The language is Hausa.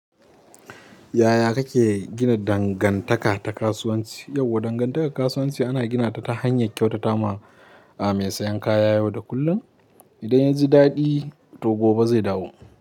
Yaya kake gina dangantaka ta kasuwanci? Yauwa dangantakar kasuwanci ana gina ta hanyar kyautata ma mai sayan kaya yau da kullum. Idan ya ji daɗi, to gobe zai dawo.